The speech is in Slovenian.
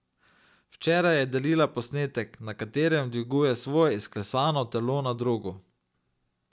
Včeraj je delila posnetek, na katerem dviguje svoje izklesano telo na drogu.